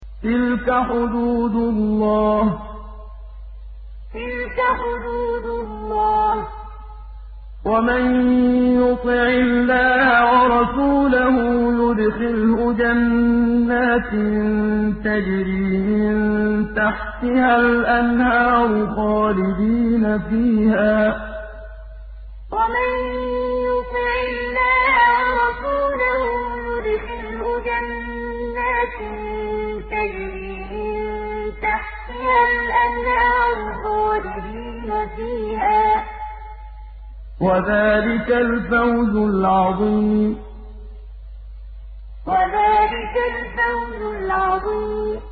تِلْكَ حُدُودُ اللَّهِ ۚ وَمَن يُطِعِ اللَّهَ وَرَسُولَهُ يُدْخِلْهُ جَنَّاتٍ تَجْرِي مِن تَحْتِهَا الْأَنْهَارُ خَالِدِينَ فِيهَا ۚ وَذَٰلِكَ الْفَوْزُ الْعَظِيمُ تِلْكَ حُدُودُ اللَّهِ ۚ وَمَن يُطِعِ اللَّهَ وَرَسُولَهُ يُدْخِلْهُ جَنَّاتٍ تَجْرِي مِن تَحْتِهَا الْأَنْهَارُ خَالِدِينَ فِيهَا ۚ وَذَٰلِكَ الْفَوْزُ الْعَظِيمُ